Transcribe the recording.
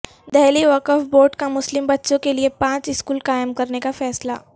دہلی وقف بورڈ کا مسلم بچوں کیلئے پانچ اسکول قائم کرنے کا فیصلہ